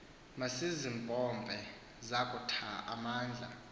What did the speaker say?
masizimpompe zakutha amandla